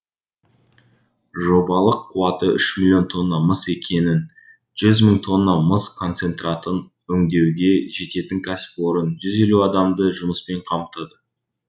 жобалық қуаты үш миллион тонна мыс екенін жүз мың тонна мыс концентратын өңдеуге жететін кәсіпорын жүз елу адамды жұмыспен қамтыды